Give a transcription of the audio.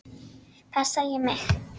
Passa ég mig?